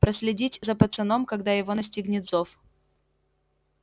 проследить за пацаном когда его настигнет зов